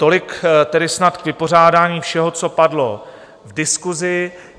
Tolik tedy snad k vypořádání všeho, co padlo v diskusi.